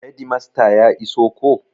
Hedimasta ya iso ko?